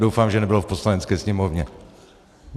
Doufám, že nebylo v Poslanecké sněmovně.